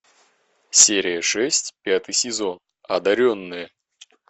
серия шесть пятый сезон одаренные